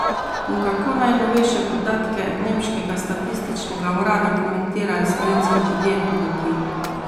In kako najnovejše podatke nemškega statističnega urada komentirajo slovenski podjetniki?